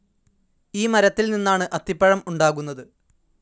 ഈ മരത്തിൽ നിന്നാണ് അത്തിപ്പഴം ഉണ്ടാകുന്നത്.